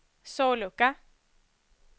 sollucka